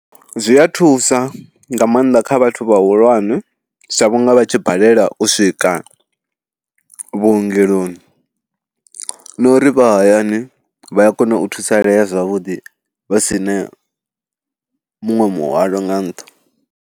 Zwi a thusa nga maanḓa kha vhathu vhahulwane sa vhunga vha tshi balelwa u swika vhuongeloni na uri vha hayani vha a kona u thusalea zwavhuḓi vha si na muṅwe muhwalo nga nṱha.